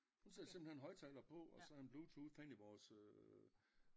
Hun sætter simpelthen højtaler og så bluetooth hen i vores